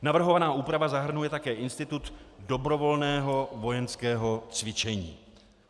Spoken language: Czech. Navrhovaná úprava zahrnuje také institut dobrovolného vojenského cvičení.